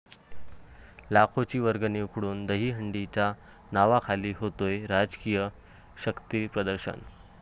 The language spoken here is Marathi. लाखोंची वर्गणी उकळून दहीहंडीच्या नावाखाली होतय राजकीय शक्तीप्रदर्शन?